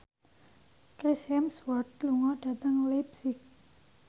Chris Hemsworth lunga dhateng leipzig